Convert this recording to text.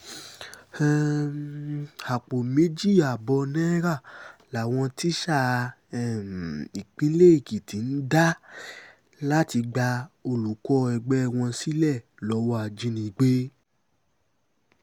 um àpò méjì ààbọ̀ náírà làwọn tíṣà um ìpínlẹ̀ èkìtì ń dá láti gba olùkọ́ ẹgbẹ́ wọn sílẹ̀ lọ́wọ́ ajínigbé